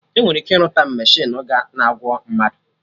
Enwere ike irụta mechinu na-agwo mmadụ